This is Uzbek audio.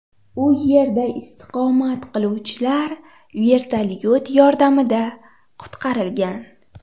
U yerda istiqomat qiluvchilar vertolyot yordamida qutqarilgan.